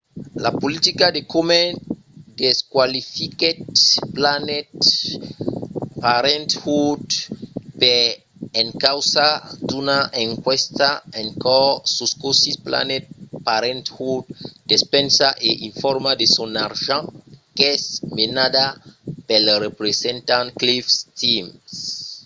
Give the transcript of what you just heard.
la politica de komen desqualifiquèt planned parenthood per encausa d'una enquèsta en cors sus cossí planned parenthood despensa e informa de son argent qu'es menada pel representant cliff stearns